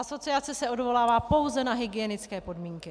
Asociace se odvolává pouze na hygienické podmínky.